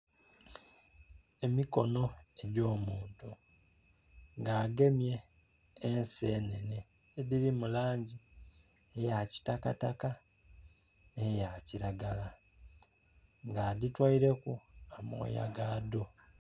Emikono egy'omuntu nga agemye ensenhenhe, edhiri mu langi eya kitakataka ne ya kiragala nga adhitoileku amooya gaadho.